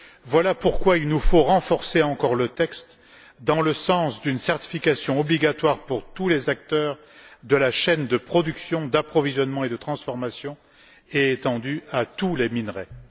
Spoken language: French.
Voilà pourquoi il nous faut renforcer encore le texte dans le sens d'une certification qui soit obligatoire pour tous les acteurs de la chaîne de production, d'approvisionnement et de transformation et qui s'applique à tous les minerais.